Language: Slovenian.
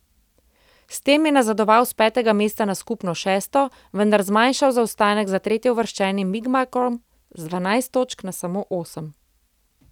S tem je nazadoval s petega mesta na skupno šesto, vendar zmanjšal zaostanek za tretjeuvrščenim Bigmarkom z dvanajst točk na samo osem.